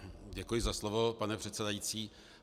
Děkuji za slovo, pane předsedající.